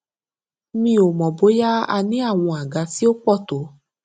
mi ò mọ bóyá a ní àwọn àga tí ó pò tó